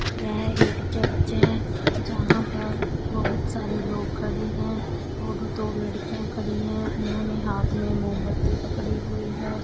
यह एक चर्च है जहां पर बहुत सारे लोग खड़े हैं और दो लड़कियां खड़ी है उन्होंने हाथ में मोमबत्ती पकड़ी हुई है।